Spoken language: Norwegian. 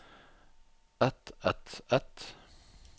et et et